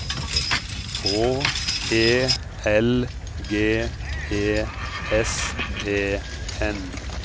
H E L G E S E N